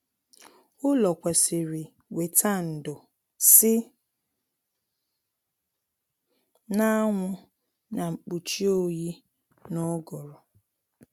Ụlọ kwesịrị weta ndo si na anwụ na mkpuchi oyi na uguru